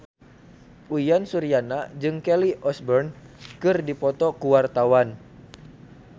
Uyan Suryana jeung Kelly Osbourne keur dipoto ku wartawan